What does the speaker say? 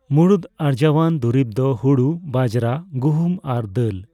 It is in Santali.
ᱢᱩᱬᱩᱫ ᱟᱨᱡᱟᱣᱟᱱ ᱫᱩᱨᱤᱵᱽ ᱫᱚ ᱦᱳᱲᱳ, ᱵᱟᱡᱽᱨᱟ, ᱜᱩᱦᱩᱢ, ᱟᱨ ᱫᱟᱹᱞ ᱾